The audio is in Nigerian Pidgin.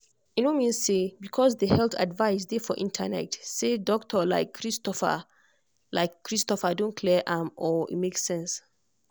e no mean say because the health advice dey for internet say doctor like christopher like christopher don clear am or e make sense.